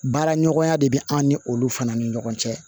Baara ɲɔgɔnya de bɛ an ni olu fana ni ɲɔgɔn cɛ